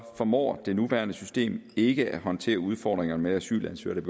formår det nuværende system ikke at håndtere udfordringerne med asylansøgere